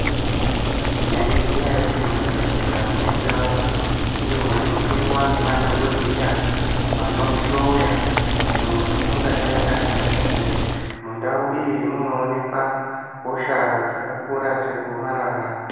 Maizviziya ere kuti mu zvibhedhlera mune ndau iyo inopindwa ne madhokoteya ano hloya kuti muntu ungadai ane hosha iri mundau iyi munoonekwa hosha dzaka kura se gomarara.